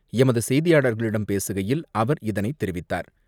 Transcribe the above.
எமதுசெய்தியாளரிடம் பேசுகையில் அவர் இதனைதெரிவித்தார்.